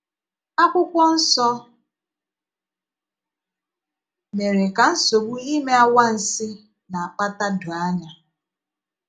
Akwụkwọ nsọ mére ka nsogbu ime ànwánsi na - akpàtà doò ànya.